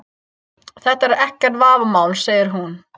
Þetta er ekkert vafamál, segir hún.